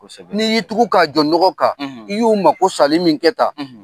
Kosɛbɛ. N'i y'i tugu k'a jɔ nɔgɔ kan. I y'u mako salen min kɛ tan,